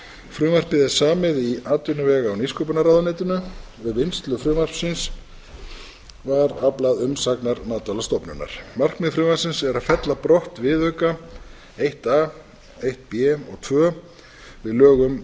frumvarpið er samið í atvinnuvega og nýsköpunarráðuneytinu við vinnslu frumvarpsins var aflað umsagnar matvælastofnunar markmið frumvarpsins er að fella brott viðauka eitt a eitt b og tvö við lög um